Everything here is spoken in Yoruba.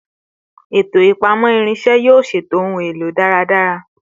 Eto ipamọ irinṣẹ yoo ṣeto ohun elo daradara